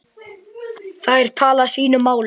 Þær tala sínu máli.